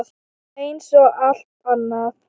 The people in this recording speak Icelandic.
Eins og allt annað.